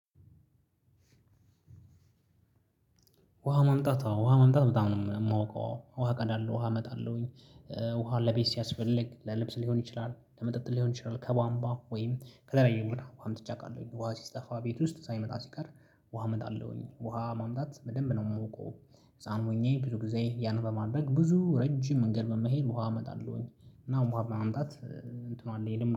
ውሃ ማምጣት አዎ ውሃ ማምጣት በጣም ነው የማውቀው አዎ። ውሃ እቀዳለው ውሃ እመጣለሁኝ ውሃ ለቤት ሲያስፈልግ ለልብስ ሊሆን ይችላል ለመጠጥ ሊሆን ይችላል ከቧንቧ ወይም ከተለያየ ቦታ ውሃ አምጥቼ አውቃለሁ ውሃ ሲጠፋ ቤት ውስጥ ሳይመጣ ሲቀር ውሃ አመጣለሁኝ ውሃ ማምጣት በደንብ ነው የማውቀው ህፃን ሆኜ ብዙ ጊዜ ያን በማድረግ ብዙ ረጅም መንገድ በመሄድ ውሃ አመጣለሁኝ እና ውሃ በማምጣት እንትኑ አለኝ ልምዱ